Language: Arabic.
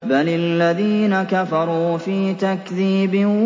بَلِ الَّذِينَ كَفَرُوا فِي تَكْذِيبٍ